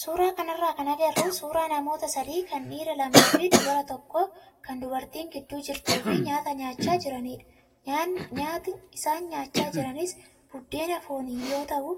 Suuraa kanarraa kan agarru suuraa namoota sadii kan dhiira lamaa fi dubara tokkoo kan dubartiin gidduu jirtuu fi nyaata nyaachaa jiranidha. Nyaati isaan nyaachaa jiranis buddeena fooniin yoo ta'u,